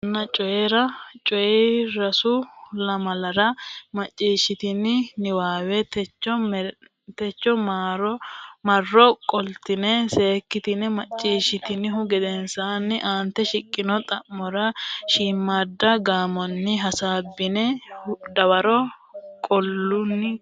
Macciishshanna Coyi ra Coyi ra Sa u lamalara macciishshitini niwaawe techono marro qoltine seekkitine macciishshitinihu gedensaanni aante shiqqino xa mora shiimmaadda gaamonni hasaabbine dawaro qaalunni qolle.